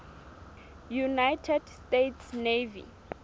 united states navy